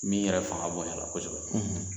Min yɛrɛ fanga bɔyanna kosɛbɛ